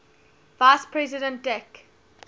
vice president dick